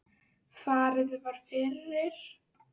Farið var fyrir